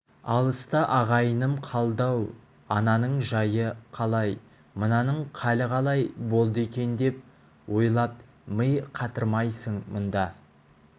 алыста ағайыным қалды-ау ананың жайы қалай мынаның халі қалай болды екен деп ойлап ми қатырмайсың мұндайда